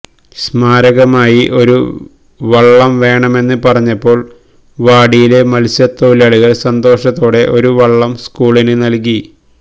സ്മാരകമായി ഒരു വള്ളം വേണമെന്ന് പറഞ്ഞപ്പോള് വാടിയിലെ മത്സ്യത്തൊഴിലാളികള് സന്തോഷത്തോടെ ഒരു വള്ളം സ്കൂളിന് നല്കി